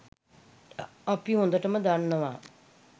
අපි හොඳටම දන්නවා